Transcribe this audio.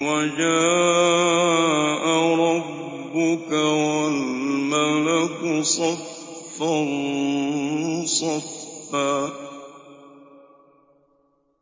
وَجَاءَ رَبُّكَ وَالْمَلَكُ صَفًّا صَفًّا